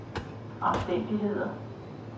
omstændigheder